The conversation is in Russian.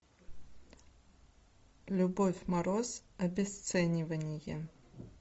любовь мороз обесценивание